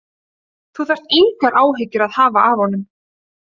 Þú þarft engar áhyggjur að hafa af honum.